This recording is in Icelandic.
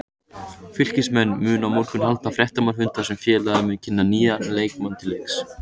Fylkismenn munu á morgun halda fréttamannafund þar sem félagið mun kynna nýja leikmenn til leiks.